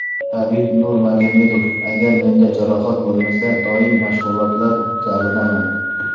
Habib Nurmagomedov: Agar menda jarohat bo‘lmasa, doim mashg‘ulotlar zalidaman.